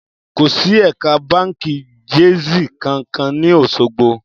Kò sì ẹ̀ka báǹkì Jaiz kankan ní Òṣogbo